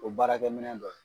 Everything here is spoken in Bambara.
O baarakɛ minɛ dɔ ye.